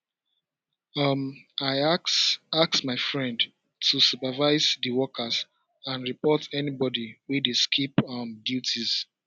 um i ask ask my friend to supervise di workers and report anybody wey dey skip um duties